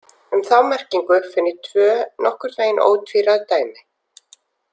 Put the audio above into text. Um þá merkingu finn ég tvö nokkurn veginn ótvíræð dæmi.